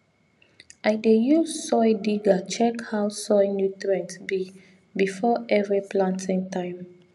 i dey use soil digger check how soil nutrient be before every planting time